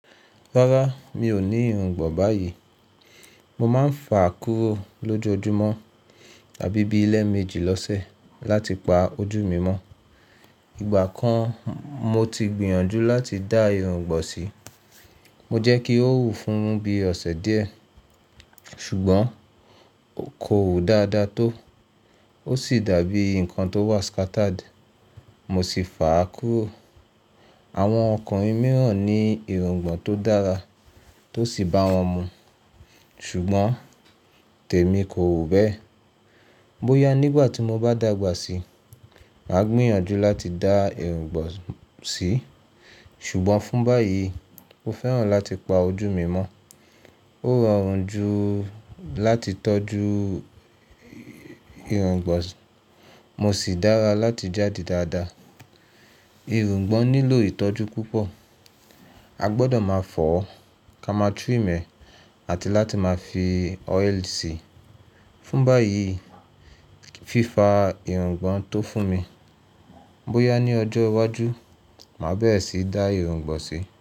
Rárá, mi ò ní irungbọ̀n báyìí. Mo máa ń fà á kúrò lójoojúmọ́ tàbí bí leméjì lọ́sẹ̀ láti pa ojú mi mọ́. Ìgbà kan mo ti gbìyànjú láti dá irungbọ̀n sí, mo jẹ́ kí ó wù fún mi bí ọ̀sẹ̀ díẹ̀, ṣùgbọ́n kò wù dáadáa tó. Ó sì dàbí nǹkan tó wà scattered, mo sì fà á kúrò. Àwọn ọkùnrin mìíràn ní irungbọ̀n tó dára tó sì bá wọn mu, ṣùgbọ́n tèmi kò wù bẹ́ẹ̀. Bóyá nígbà tí mo bá dàgbà síi, màá gbìyànjú láti dá irungbọ̀n sí, ṣùgbọ́n fún báyìí mo fẹ́ràn láti pa ojú mi mọ́. Ó rọrùn jù láti tọ́jú irungbọ̀n, mo sì dára láti jáde dáadáa. Irungbọ̀n nílò ìtọ́jú púpọ̀, a gbọdọ̀ máa fọ̀ ọ́, ká máa trim e àti láti máa fi oil sí i. Fún báyìí, fífa irungbọ̀n tó fún mi. Bóyá ní ọjọ́ iwájú, màá bẹ́ẹ̀re sì dá irungbọ̀n sí.